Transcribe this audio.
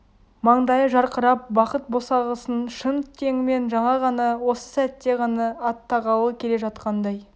маңдайы жарқырап бақыт босағасын шын теңімен жаңа ғана осы сәтте ғана аттағалы келе жатқандай